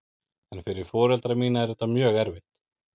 En fyrir foreldra mína er þetta mjög erfitt.